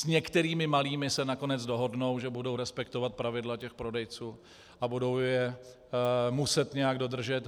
S některými malými se nakonec dohodnou, že budou respektovat pravidla těch prodejců a budou je muset nějak dodržet.